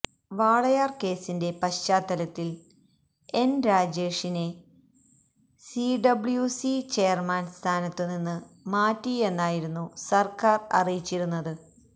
വാളയാര് കേസിന്റെ പശ്ചാത്തലത്തില് എന് രാജേഷിനെ സിഡബ്ല്യുസി ചെയര്മാന് സ്ഥാനത്തു നിന്ന് മാറ്റിയെന്നായിരുന്നു സര്ക്കാര് അറിയിച്ചിരുന്നത്